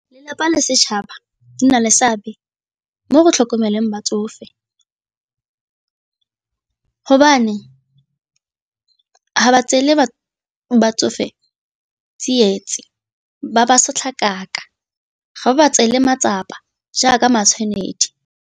Lelapa le setšhaba di na le seabe mo go tlhokomeleng batsofe, hobane ga ba tseele batsofe ba ba sotlakaka ga ba tseele matsapa jaaka matshwanedi.